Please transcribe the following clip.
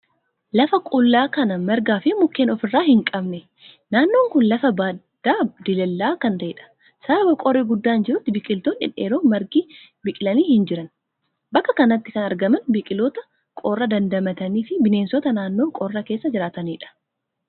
Lafa qullaa kan margaa fi mukeen ofirraa hin qabne. Naannoon kun lafa baddaa diilallaa'aa kan ta'edha. Sababa qorri guddaan jirutti biqiltoonni dhedheeroo margi biqilanii hin jirani. Bakka kanatti kan argaman biqiltoota qorra dandamatanii fi bineensota naannoo qorraa keessa jiraatanidha.